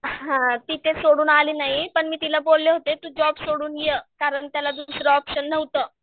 हां तिथे सोडून आली नाही पण मी तिला बोलले होते तू जॉब सोडून ये कारण त्याला दुसरं ऑप्शन नव्हतं.